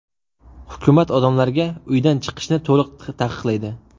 Hukumat odamlarga uydan chiqishni to‘liq taqiqlaydi.